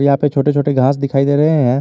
यहां पे छोटे छोटे घास दिखाई दे रहे हैं।